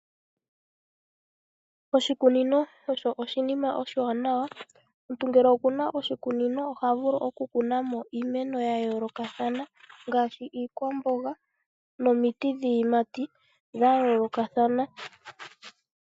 Oshikunino osho oshinima oshiwanawa. Omuntu ngele okuna oshikunino oha vulu oku kunamo iimeno ya yoolokathana ngaashi iikwamboga nomiti dhiiyimati dha yoolokathana.